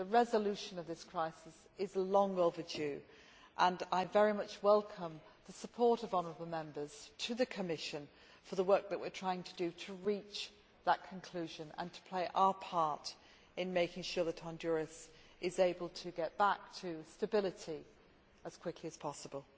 The resolution of this crisis is long overdue, and I very much welcome the support shown by honourable Members to the Commission for the work that we are trying to do to reach that conclusion and to play our part in making sure that Honduras is able to get back to stability as quickly as possible.